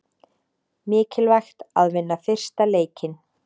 Mikilvægt að vinna fyrsta leikinn